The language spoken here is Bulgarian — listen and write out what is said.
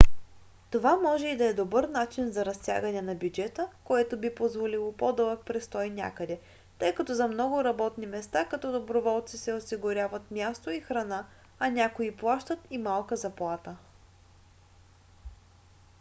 това може и да е добър начин за разтягане на бюджета което би позволило по-дълъг престой някъде тъй като за много работни места като доброволци се осигуряват място и храна а някои плащат и малка заплата